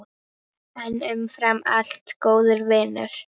En umfram allt góður vinur.